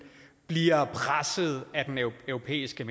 bliver presset af den europæiske